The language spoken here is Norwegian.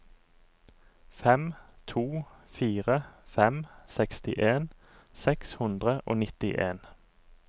fem to fire fem sekstien seks hundre og nittien